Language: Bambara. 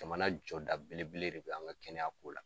Jamana jɔda belebele de bɛ an ŋa kɛnɛya ko la.